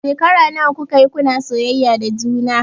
Shekara nawa kuka yi kuna soyayya da juna?